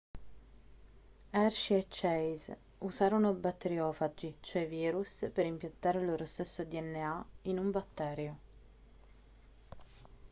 hershey e chase usarono batteriofagi cioè virus per impiantare il loro stesso dna in un batterio